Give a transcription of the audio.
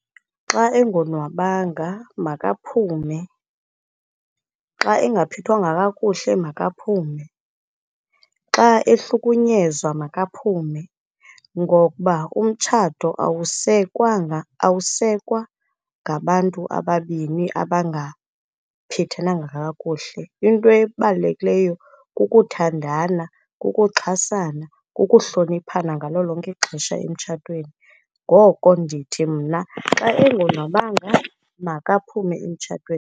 Xa engonwabanga, makaphume. Xa engaphethwanga kakuhle, makaphume. Xa ehlukunyezwa, makaphume, ngokuba umtshato awusekwanga, awusekwa ngabantu ababini abangaphethenanga kakuhle. Into ebalulekileyo kukuthandana, kukuxhasana, kukuhloniphana ngalo lonke ixesha emtshatweni. Ngoko ndithi mna, xa engonwabanga, makaphume emtshatweni.